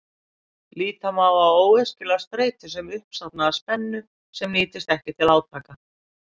Líta má á óæskilega streitu sem uppsafnaða spennu sem nýtist ekki til átaka.